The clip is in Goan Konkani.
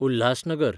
उल्हासनगर